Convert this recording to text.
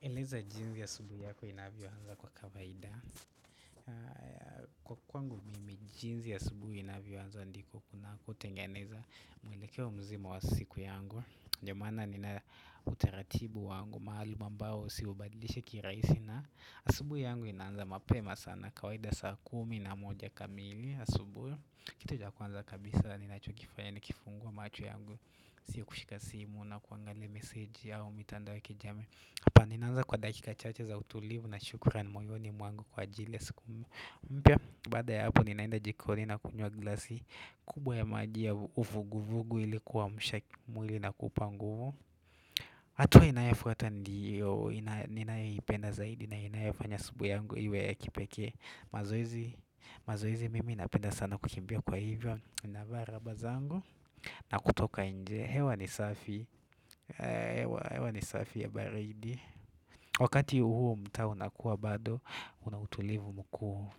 Eleza jinsi asubuhi yako inavyoanza kwa kavaida Kwa kwangu mimi jinzi asubuhi inavyoanza ndiko kuna kutengeneza mwelekeo mzima wa siku yangu Ndomaana nina utaratibu wangu maalum ambao siubadilishi kirahisi na asubuhi yangu inanza mapema sana kawaida saa kumi na moja kamili asubuhi Kitu cha kwanza kabisa ninacho kifanya nikifungua macho yangu Sio kushika simu na kuangalia meseji yao mitandao ya kijamii Hapa ninaanza kwa dakika chache za utulivu na shukuran moyo ni mwangu kwa jili ya siku mpya baada ya hapo ninaenda jikoni na kunywa glasi kubwa ya maji ya uvugu vugu ili kuamsha mwili na kuupa nguvu hatua inayofuata ndiyo ninayoipenda zaidi na inayofanya siku yangu iwe ya kipekee mazoezi mazoezi mimi napenda sana kukimbia kwa hivyo navaa raba zangu na kutoka nje, hewa ni safi hewa ni safi ya baridi Wakati huu mta unakuwa bado Unautulivu mkuu